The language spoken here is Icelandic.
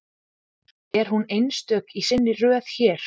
Er hún einstök í sinni röð hér?